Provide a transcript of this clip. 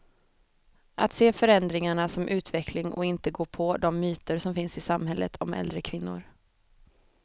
Att se förändringarna som utveckling och inte gå på de myter som finns i samhället om äldre kvinnor.